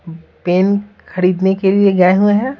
Pen खरीदने के लिए गए हुए हैं।